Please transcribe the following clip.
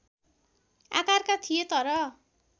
आकारका थिए तर